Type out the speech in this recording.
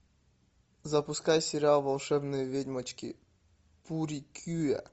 запускай сериал волшебные ведьмочки пурикюа